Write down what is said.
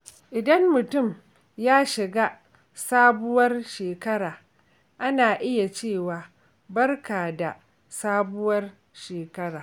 Idan mutum ya shiga sabuwar shekara, ana iya cewa “Barka da sabuwar shekara.”.